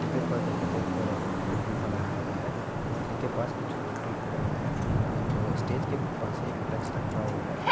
देखिये उपर देखे तो एक पुल भी बनाया हुआ है। नदी के पास कुछ लोग भी खड़े हुए है और एक स्टेज के पास एक फ्लैक्स रखा हुआ है।